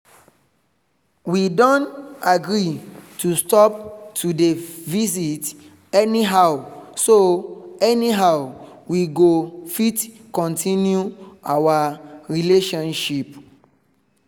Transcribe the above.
we don agree to stop to dey visit anyhow so anyhow so we go fit continue our relationship